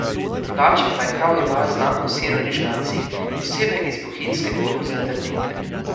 Drugače pa je Kravji bal znan po siru in žgancih, posebej iz bohinjske koruze trdinke.